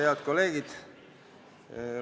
Head kolleegid!